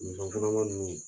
musokɔnɔma ninnu